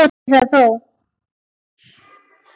Vissi það þó.